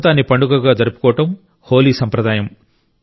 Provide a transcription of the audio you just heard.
వసంతాన్ని పండుగగా జరుపుకోవడం హోలీ సంప్రదాయం